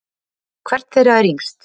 Hvert þeirra er yngst?